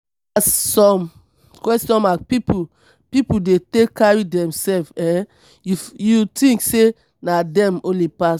as some pipu pipu de take carry themsef ef you tink sey na dem holy pass.